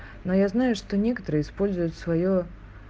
но я знаю что некоторые используют своё